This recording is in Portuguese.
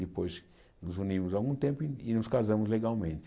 Depois nos unimos algum tempo e e nos casamos legalmente.